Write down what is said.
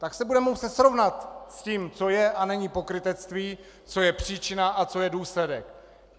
Tak se budeme muset srovnat s tím, co je a není pokrytectví, co je příčina a co je důsledek.